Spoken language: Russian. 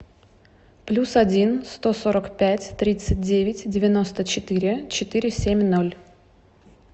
плюс один сто сорок пять тридцать девять девяносто четыре четыре семь ноль